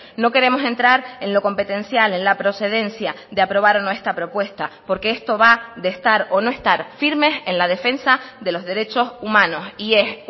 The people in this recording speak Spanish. no queremos entrar en lo competencial en la procedencia de aprobar o no esta propuesta porque esto va de estar o no estar firmes en la defensa de los derechos humanos y es